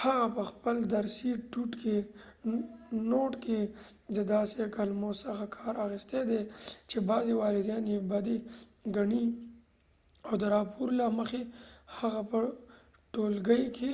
هغه په خپل درسی ڼوټ کې دداسې کلمو څخه کار اخستی دي چې بعضی والدين یې بدي ګنی او د راپور له مخی هغه په ټولګی کې